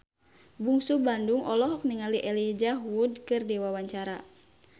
Bungsu Bandung olohok ningali Elijah Wood keur diwawancara